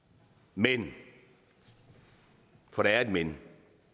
men for der er et men